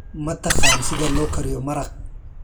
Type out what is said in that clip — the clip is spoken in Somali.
Ma taqaan sida loo kariyo maraq?